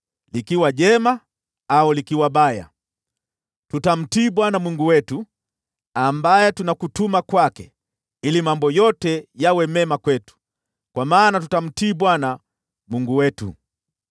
Likiwa jema au likiwa baya, tutamtii Bwana Mungu wetu, ambaye tunakutuma kwake, ili mambo yote yawe mema kwetu, kwa maana tutamtii Bwana Mungu wetu.”